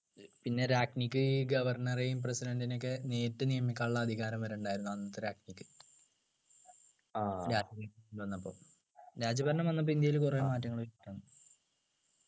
പിന്നെ രാഞ്ജിക്ക് ഈ governor നെയും president നെയും ഒക്കെ നേരിട്ട് നിയമിക്കാനുള്ള അധികാരം വരെയുണ്ടായിരുന്നു അന്നത്തെ രാഞ്ജിക്ക് രാഞ്ജി വന്നപ്പോ രാജഭരണം വന്നപ്പോൾ ഇന്ത്യയില് കുറെ മാറ്റങ്ങൾ